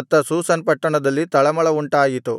ಅತ್ತ ಶೂಷನ್ ಪಟ್ಟಣದಲ್ಲಿ ತಳಮಳ ಉಂಟಾಯಿತು